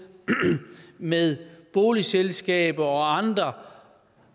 med boligselskaber og andre